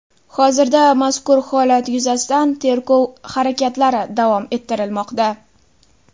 Hozirda mazkur holat yuzasidan tergov harakatlari davom ettirilmoqda.